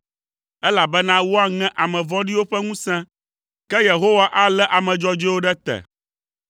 elabena woaŋe ame vɔ̃ɖiwo ƒe ŋusẽ, ke Yehowa alé ame dzɔdzɔewo ɖe te.